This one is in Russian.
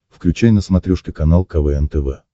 включай на смотрешке канал квн тв